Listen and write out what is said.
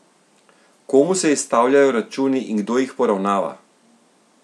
Komu se izstavljajo računi in kdo jih poravnava?